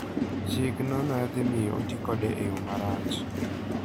Chikno ne dhi miyo oti kode e yo marach.